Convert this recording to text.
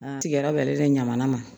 A tigɛra bɛ ɲamana ma